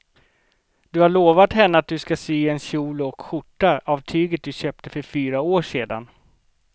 Du har lovat henne att du ska sy en kjol och skjorta av tyget du köpte för fyra år sedan.